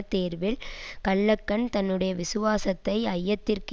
தேர்வில் கல்லகன் தன்னுடைய விசுவாசத்தை ஐயத்திற்கு